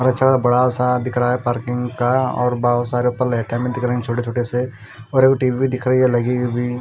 बड़ा सा दिख रहा है पार्किंग का और बहुत सारे ऊपर लाइटें भी दिख रहे छोटे छोटे से और एक टी_वी भी दिख रही है लगी हुई।